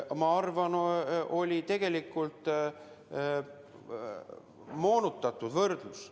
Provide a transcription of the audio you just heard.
Ma arvan, et see oli moonutatud võrdlus.